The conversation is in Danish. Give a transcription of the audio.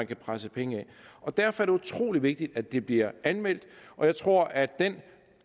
kan presse penge af derfor er det utrolig vigtigt at det bliver anmeldt og jeg tror at den